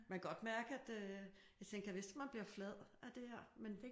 Man kan godt mærke at øh jeg tænkte gad vist om man bliver flad af det her? Men